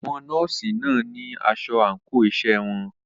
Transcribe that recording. Àwọn nọ́ọ̀sì náà ní asọ àńkò iṣẹ́ wọn.